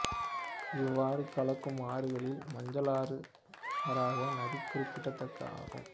இவ்வாறு கலக்கும் ஆறுகளில் மஞ்சளாறு வராக நதி குறிப்பிடத்தக்கது ஆகும்